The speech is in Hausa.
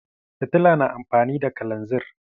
Fitila na amfani da kalanzir.